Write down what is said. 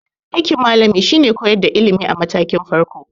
Aikin malami shine koyar da ilimi a matakin farko.